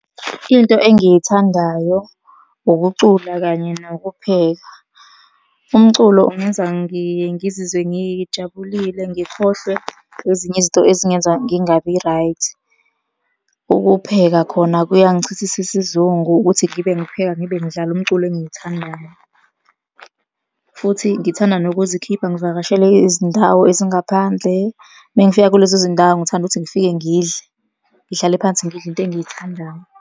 Into engiyithandayo, ukucula kanye nokupheka. Umculo ungenza ngiye ngizizwe ngijabulile, ngikhohlwe ezinye izinto ezingenza ngingabi right. Ukupheka khona kuyangichithisa isizungu ukuthi ngibe ngipheka ngibe ngidlala umculo engiwuthandayo, futhi ngithanda nokuzikhipha ngivakashele izindawo ezingaphandle. Uma ngifika kulezo zindawo, ngithanda ukuthi ngifike ngidle, ngihlale phansi ngidle into engiyithandayo.